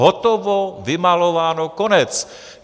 Hotovo, vymalováno, konec.